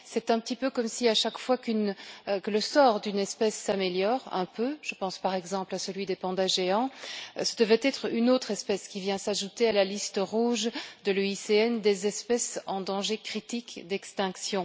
C'est un petit peu comme si, à chaque fois que le sort d'une espèce s'améliore un peu je pense par exemple à celui des pandas géants c'est une autre espèce qui vient s'ajouter à la liste rouge de l'UICN des espèces en danger critique d'extinction.